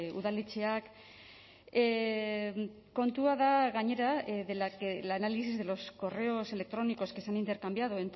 udaletxeak kontua da gainera de la que el análisis de los correos electrónicos que se han intercambiado